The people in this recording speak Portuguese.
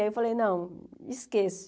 Aí eu falei, não, esqueço.